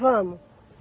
Vamos.